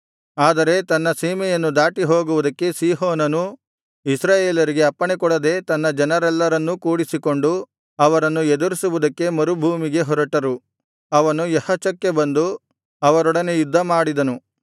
ಆದರೆ ತನ್ನ ಸೀಮೆಯನ್ನು ದಾಟಿಹೋಗುವುದಕ್ಕೆ ಸೀಹೋನನು ಇಸ್ರಾಯೇಲರಿಗೆ ಅಪ್ಪಣೆಕೊಡದೆ ತನ್ನ ಜನರೆಲ್ಲರನ್ನೂ ಕೂಡಿಸಿಕೊಂಡು ಅವರನ್ನು ಎದುರಿಸುವುದಕ್ಕೆ ಮರುಭೂಮಿಗೆ ಹೊರಟರು ಅವನು ಯಹಚಕ್ಕೆ ಬಂದು ಅವರೊಡನೆ ಯುದ್ಧಮಾಡಿದನು